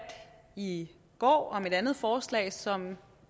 i går om et andet forslag som